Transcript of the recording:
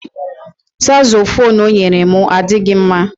Sakzofuunu o nyere m adịghị mma